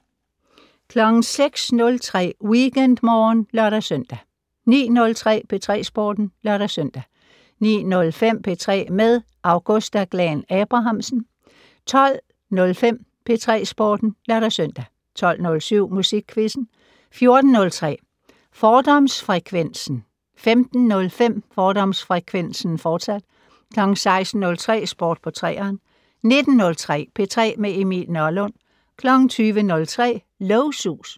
06:03: WeekendMorgen (lør-søn) 09:03: P3 Sporten (lør-søn) 09:05: P3 med Augusta Glahn-Abrahamsen 12:05: P3 Sporten (lør-søn) 12:07: Musikquizzen 14:03: Fordomsfrekvensen 15:05: Fordomsfrekvensen, fortsat 16:03: Sport på 3'eren 19:03: P3 med Emil Nørlund 20:03: Lågsus